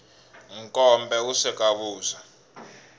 nkombe wu sweka vuswa